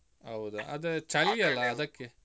ಹೌದಾ ಆದ್ರೆ ಚಳಿ ಅಲ್ಲಾ ಅದಕ್ಕೆ.